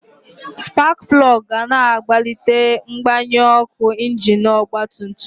Spak plọg ga na akwalite mgbanyụ ọkụ injin ọgba tum tum.